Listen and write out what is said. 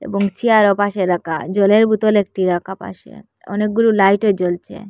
বেঞ্চি আর ওপাশে রাকা জলের বোতল একটি রাকা পাশে অনেকগুলো লাইটও জ্বলছে।